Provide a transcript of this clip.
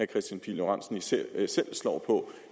kristian pihl lorentzen selv slår på